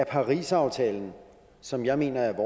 parisaftalen som jeg mener er